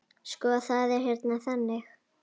Sko, það er hérna þannig.